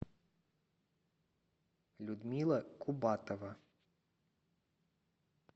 людмила кубатова